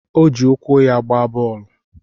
O ji ụkwụ ya gbaa bọọlụ